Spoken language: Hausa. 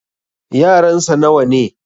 yaransa nawa ne?